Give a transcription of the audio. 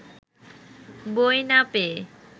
বই না পেয়ে